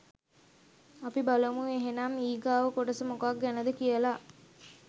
අපි බලමු එහෙනම් ඊගාව කොටස මොකක් ගැනද කියලා